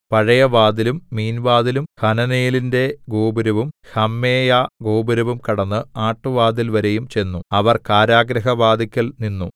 പഴയവാതിലും മീൻവാതിലും ഹനനേലിന്റെ ഗോപുരവും ഹമ്മേയാഗോപുരവും കടന്ന് ആട്ടുവാതിൽവരെയും ചെന്നു അവർ കാരാഗൃഹവാതില്ക്കൽ നിന്നു